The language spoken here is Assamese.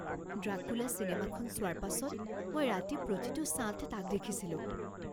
ড্ৰাকুলা চিনেমাখন চোৱাৰ পাছত মই ৰাতি প্ৰতিটো ছাঁতে তাক দেখিছিলোঁ